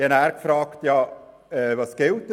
Daraufhin fragte ich, was nun gelte.